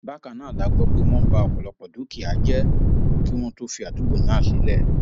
bákan náà la gbọ pé wọn bá ọpọlọpọ dúkìá jẹ kí wọn tóó fi àdúgbò náà sílẹ